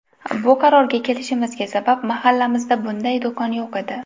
Bu qarorga kelishimizga sabab, mahallamizda bunday do‘kon yo‘q edi.